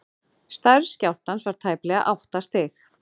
stærð skjálftans var tæplega átta stig